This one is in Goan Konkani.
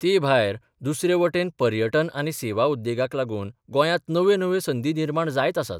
ते भायर दुसरे वटेन पर्यटन आनी सेवा उद्येगाक लागून गोयांत नव्यो नव्यो संदी निर्माण जायत आसात.